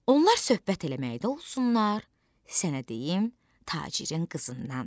Onlar söhbət eləməkdə olsunlar, sənə deyim tacirin qızından.